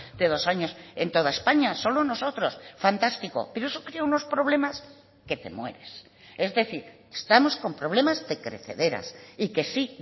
de dos años en toda españa solo nosotros fantástico pero eso crea unos problemas que te mueres es decir estamos con problemas de crecederas y que sí